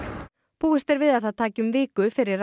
búist er við að það taki um viku fyrir